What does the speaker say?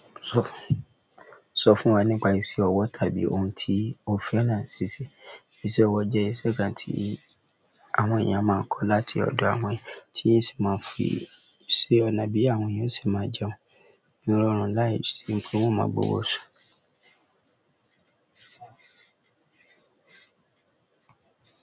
Sọ fún wa nípa iṣẹ́ ọwọ́ tàbí ohun tí o fẹ́ràn ní ṣíṣe. Iṣẹ́ ọwọ́ jẹ́ iṣẹ́ kan tí àwọn ènìyàn máa ń kọ́ láti ọ̀dọ̀ àwọn ẹni tí yóò sì máa ń fi sí ọ̀nà bí àwọn èèyàn ó se máa jẹun ìrọ̀rùn láìsí ti wọn máa gbowó oṣù.